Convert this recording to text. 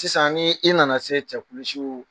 Sisan ni i nana se cɛkulusiw